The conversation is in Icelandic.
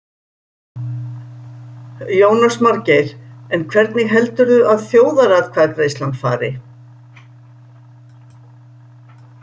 Jónas Margeir: En hvernig heldurðu að þjóðaratkvæðagreiðslan fari?